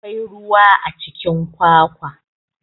Akwai ruwa a cikin kwakwa.